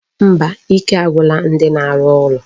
Mba, ike agwụla ndi na-arụ ụlọ.